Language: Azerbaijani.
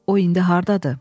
O indi hardadır?